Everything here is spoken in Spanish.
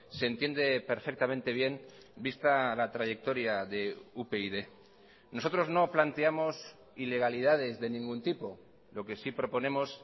se entiende perfectamente bien vista la trayectoria de upyd nosotros no planteamos ilegalidades de ningún tipo lo que sí proponemos